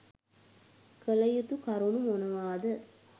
කළයුතු කරුණු මොනවාද